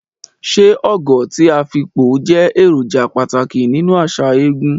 Ṣé Ogo ti Afikpo jẹ́ èròjà pàtàkì nínú àṣà eégún?